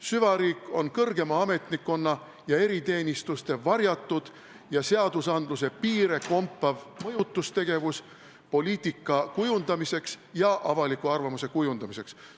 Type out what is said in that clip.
Süvariik on kõrgema ametnikkonna ja eriteenistuste varjatud seaduste piire kompav mõjutustegevus poliitika ja avaliku arvamuse kujundamiseks.